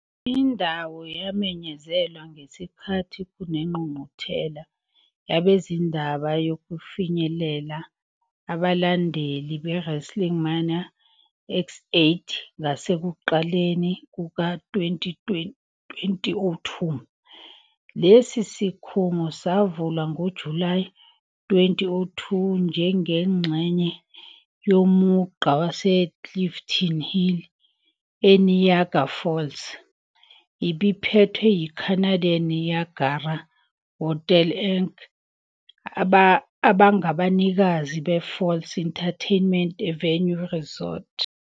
Indawo yamenyezelwa ngesikhathi kunengqungquthela yabezindaba yokufinyelela abalandeli beWrestleMania X8 ngasekuqaleni kuka-2002. Lesi sikhungo savulwa ngoJulayi 2002 njengengxenye yomugqa waseClifton Hill eNiagara Falls. Ibiphethwe yi-Canadian Niagara Hotels Inc. abangabanikazi be-Falls Entertainment Avenue Resort.